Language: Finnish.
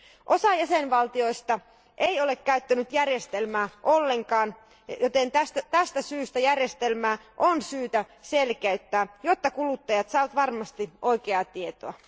Osa jäsenvaltioista ei ole käyttänyt järjestelmää ollenkaan, joten tästä syystä järjestelmää on syytä selkeyttää, jotta kuluttajat saavat varmasti oikeaa tietoa.